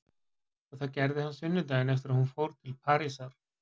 Og það gerði hann sunnudaginn eftir að hún fór til Parísar.